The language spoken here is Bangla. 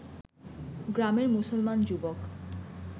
গ্রামের মুসলমান যুবক